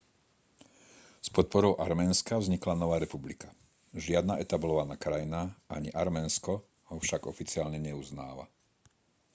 s podporou arménska vznikla nová republika žiadna etablovaná krajina ani arménsko ho však oficiálne neuznáva